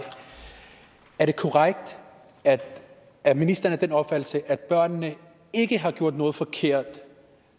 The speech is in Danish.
er det korrekt at at ministeren er af den opfattelse at børnene ikke har gjort noget forkert